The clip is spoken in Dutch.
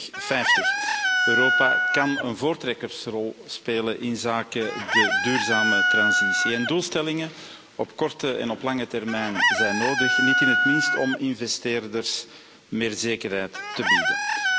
2050. Europa kan een voortrekkersrol spelen inzake de duurzame transitie. Doelstellingen op korte en op lange termijn zijn nodig, niet in het minst om investeerders meer zekerheid te bieden.